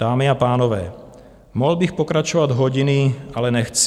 Dámy a pánové, mohl bych pokračovat hodiny, ale nechci.